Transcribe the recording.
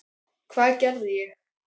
Hvað gerði ég?